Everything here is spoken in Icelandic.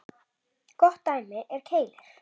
Gott dæmi er Keilir.